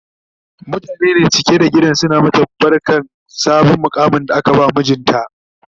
mutane ne cike da gidan suna mata barkan sabon muƙamin da aka ba mijinta